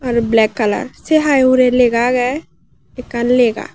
blek kalar se hai hure lega agey ekkan lega.